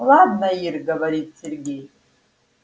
ладно ир говорит сергей